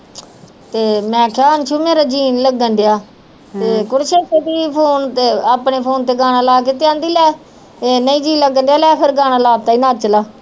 ਤੇ ਮੈਂ ਕਿਹਾ ਅੰਸੂ ਮੇਰੇ ਜੀਅ ਨੀ ਲੱਗਣ ਡਿਆ ਤੇ ਫ਼ੋਨ ਤੇ ਆਪਣੇ ਫ਼ੋਨ ਤੇ ਗਾਣਾ ਲਾ ਕੇ ਕਹਿੰਦੀ ਲੈ ਇੰਨਾ ਹੀ ਜੀਅ ਲੱਗਣਡਿਆ ਲੈ ਫਿਰ ਗਾਣਾ ਲਾ ਦਿੱਤਾ ਈ ਨੱਚ ਲਾ